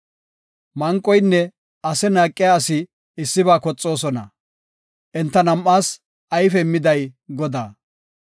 Manqoynne ase naaqiya asi issiba koxoosona; enta nam7aas ayfe immiday Godaa.